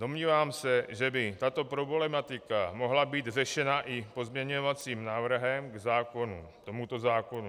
Domnívám se, že by tato problematika mohla být řešena i pozměňovacím návrhem k tomuto zákonu.